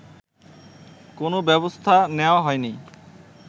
কোনো ব্যবস্থা নেয়া হয়নি